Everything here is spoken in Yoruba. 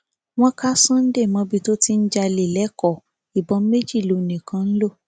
wọn ka sunday mọbí tó ti ń jalè lẹkọọ ìbọn méjì lòun nìkan ń lò